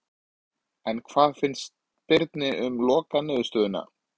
En hvað fannst Birni um lokaniðurstöðuna?